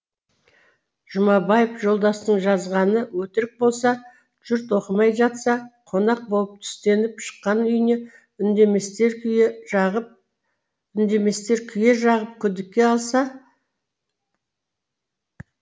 жұмабаев жолдастың жазғаны өтірік болса жұрт оқымай жатса қонақ болып түстеніп шыққан үйіне үндеместер күйе жағып күдікке алса